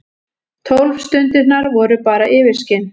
Tólf stundirnar voru bara yfirskin.